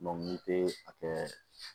n tɛ a kɛ